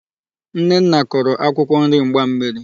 Nnenna koro akwụkwọ nri mgbammiri.